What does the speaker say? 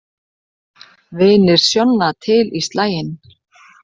Vinir Sjonna til í slaginn